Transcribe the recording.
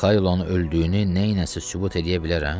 Mixailonu öldüyünü nəyləsə sübut eləyə bilərəm?